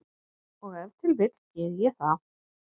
Og ef til vill geri ég það.